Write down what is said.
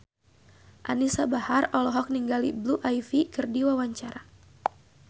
Anisa Bahar olohok ningali Blue Ivy keur diwawancara